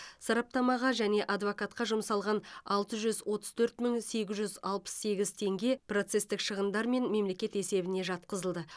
сараптамаға және адвокатқа жұмсалған алты жүз отыз төрт мың сегіз жүз алпыс сегіз теңге процестік шығындар мен мемлекет есебіне жатқызылды